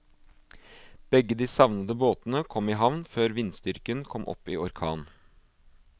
Begge de savnede båtene kom i havn før vindstyrken kom opp i orkan.